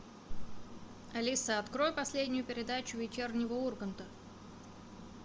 алиса открой последнюю передачу вечернего урганта